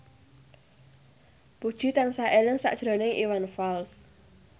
Puji tansah eling sakjroning Iwan Fals